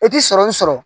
I ti sɔrɔmu sɔrɔ